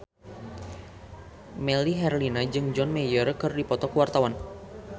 Melly Herlina jeung John Mayer keur dipoto ku wartawan